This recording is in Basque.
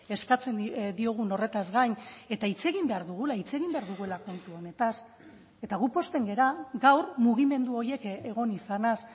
eskatzen diogun horretaz gain eta hitz egin behar dugula hitz egin behar dugula kontu honetaz eta gu pozten gara gaur mugimendu horiek egon izanaz